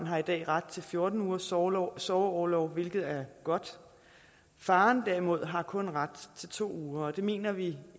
har i dag ret til fjorten ugers sorgorlov sorgorlov hvilket er godt faren derimod har kun ret til to uger og det mener vi